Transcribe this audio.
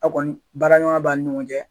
A' kɔni baara ɲɔgɔnya b'a ni ɲɔgɔn cɛ.